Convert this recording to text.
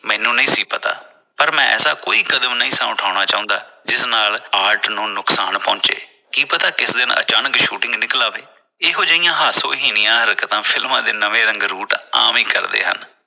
ਮੈਨੂੰ ਨਹੀਂ ਸੀ ਪਤਾ ਪਰ ਮੈਂ ਐਸਾ ਕੋਈ ਵੀ ਕਦਮ ਨਹੀਂ ਸਾ ਉਠਾਉਣਾ ਚਾਹੁੰਦਾ ਜਿਸ ਨਾਲ art ਨੂੰ ਨੁਕਸਾਨ ਹੋਵੇ ਕੀ ਪਤਾ ਕਿਸੇ ਦਿਨ ਅਚਾਨਕ shooting ਨਿੱਕਲ ਆਵੇ ਇਹੋ ਜਿਹੀਆਂ ਹਾਸੋ ਹੀਣੀਆਂ ਹਰਕਤਾੰ ਫਿਲਮਾਂ ਦੇ ਰੰਗਰੂਟ ਆਮ ਹੀ ਕਰਦੇ ਹਨ।